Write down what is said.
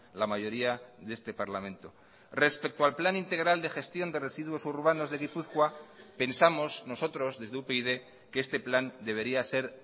la mayoría de este parlamento respecto al plan integral de gestión de residuos urbanos de gipuzkoa pensamos nosotros desde upyd que este plan debería ser